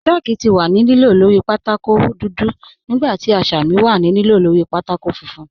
Chàlkù ti wà ní lìlò lórí pátákó nígbà tí àṣàmì wà ní lìlò lórí pátákó fùnfún.